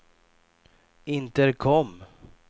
intercom